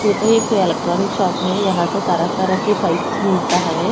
यह तो एक इलेक्ट्रॉनिक शॉप है यहां तो तरह तरह की पाइप्स मिलता है।